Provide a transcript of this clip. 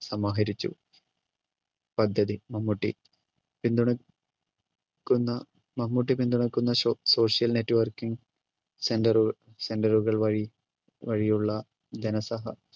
സമാഹരിച്ചു. പദ്ധതി മമ്മൂട്ടി പിന്തുണയ് ക്കുന്ന മമ്മൂട്ടി പിന്തുണയ്ക്കുന്ന സോ social networking center center റുകൾ വഴി വഴിയുള്ള ധനസഹാ